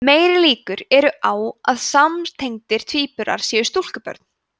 meiri líkur eru á að samtengdir tvíburar séu stúlkubörn